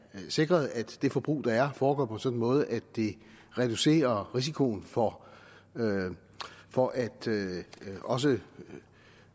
sikret at det forbrug der er foregår på en sådan måde at det reducerer risikoen for for at også